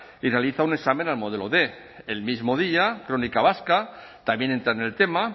y realiza un examen al modelo quinientos el mismo día crónica vasca también entra en el tema